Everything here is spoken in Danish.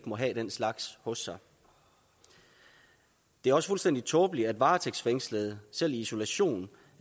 må have den slags hos sig det er også fuldstændig tåbeligt at varetægtsfængslede selv i isolation